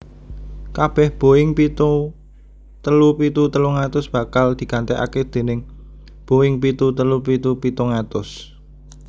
Kabèh Boeing pitu telu pitu telung atus bakal digantèkaké déning Boeing pitu telu pitu pitung atus